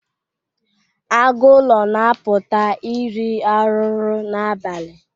Agụ ụlọ na-apụta iri arụrụ n'abalị.